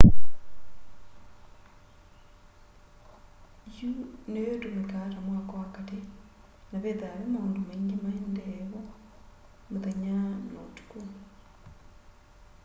yũ nĩyo ĩtũmĩkaa ta mwako wa katĩ na vethaa ve maũndũ maingĩ maendee vo mũthenya na ũtũkũ